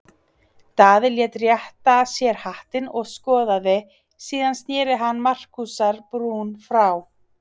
Daði lét rétta sér hattinn og skoðaði, síðan sneri hann Markúsar-Brún frá.